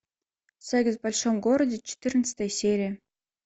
секс в большом городе четырнадцатая серия